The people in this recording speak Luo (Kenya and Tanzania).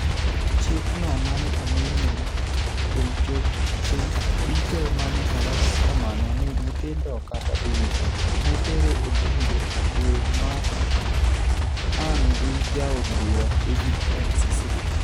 Chik no mane omi nying' kuom choche duto mane olos kamano ni "nyithindo" kata (BABIES) notere e bunge dwer mar ang' gi jaod bura David N Cicilline.